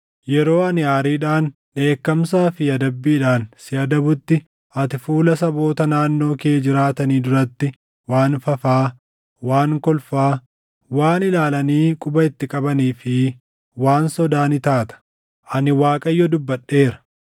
Yeroo ani aariidhaan, dheekkamsaa fi adabbiidhaan si adabutti, ati fuula saboota naannoo kee jiraatanii duratti waan fafaa, waan kolfaa, waan ilaalanii quba itti qabanii fi waan sodaa ni taata. Ani Waaqayyo dubbadheera.